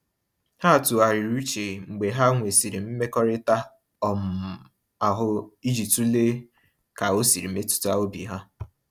Ha tụgharịrị uche mgbe ha nwesịrị mmekọrịta um ahụ iji tụlee ka o siri metụta obi ha.